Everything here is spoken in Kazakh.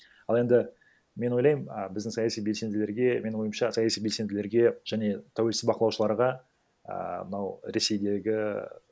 ал енді мен ойлаймын а біздің саяси белсенділерге менің ойымша саяси белсенділерге және тәуелсіз бақылаушыларға ііі мынау ресейдегі